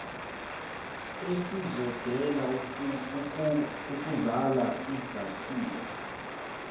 esisondele ukuzala ingasiwa